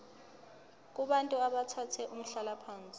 kubantu abathathe umhlalaphansi